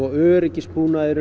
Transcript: öryggisbúnaði